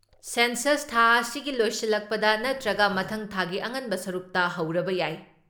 census ꯊꯥ ꯑꯁꯤꯒꯤ ꯂꯣꯏꯁꯤꯜꯂꯛꯄꯗ ꯅꯠꯇ꯭ꯔꯒ ꯃꯊꯪ ꯊꯥꯒꯤ ꯑꯉꯟꯕ ꯁꯔꯨꯛꯇ ꯍꯧꯔꯕ ꯌꯥꯏ